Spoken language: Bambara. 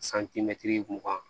mugan